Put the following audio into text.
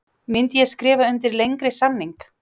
Myndi ég skrifa undir lengri samning?